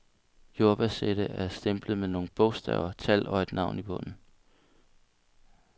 Jordbærsættet er stemplet med nogle bogstaver, tal og et navn i bunden.